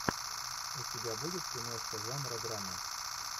у тебя будет киношка жанра драма